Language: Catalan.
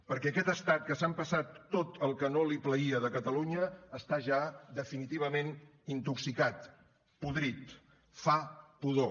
perquè aquest estat que s’ha empassat tot el que no li plaïa de catalunya està ja definitivament intoxicat podrit fa pudor